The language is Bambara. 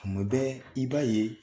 Kuma bɛɛ i b'a ye